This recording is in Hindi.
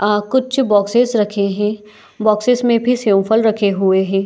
आ कुछ बॉक्सेस रखे हैबॉक्सेस में भी सेव फल रखे हुए है।